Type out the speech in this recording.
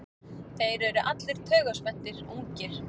Þeir eru allir taugaspenntir, ungir.